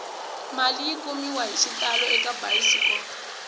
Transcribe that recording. mali yi kumiwahi xitalo eka bayisikopo